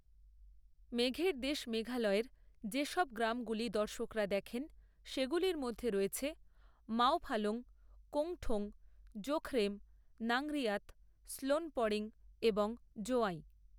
মেঘের দেশ মেঘালয়ের যে সব গ্রামগুলি দর্শকরা দেখেন, সেগুলির মধ্যে রয়েছে, মাওফালং, কোংঠোং, জাখরেম, নংরিয়াত, শ্নোনপডেং এবং জোয়াই।